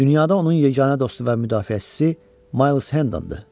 Dünyada onun yeganə dostu və müdafiəçisi Miles Hendondır.